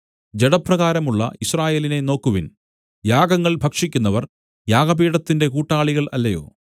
ജഡപ്രകാരമുള്ള യിസ്രായേലിനെ നോക്കുവിൻ യാഗങ്ങൾ ഭക്ഷിക്കുന്നവർ യാഗപീഠത്തിന്റെ കൂട്ടാളികൾ അല്ലയോ